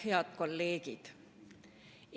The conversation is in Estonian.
Head kolleegid!